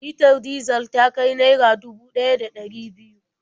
Litar dizal ta kai naira dubu ɗaya da ɗari biyu.